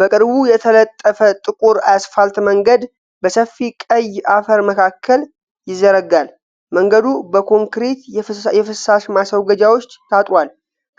በቅርቡ የተነጠፈ ጥቁር የአስፋልት መንገድ በሰፊ ቀይ አፈር መካከል ይዘረጋል። መንገዱ በኮንክሪት የፍሳሽ ማስወገጃዎች ታጥሯል።